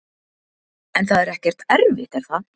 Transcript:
En það er ekkert erfitt er það?